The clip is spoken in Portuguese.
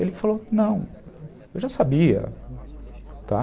Ele falou, não, eu já sabia, tá?